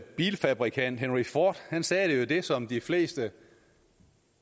bilfabrikant henry ford sagde jo det som de fleste i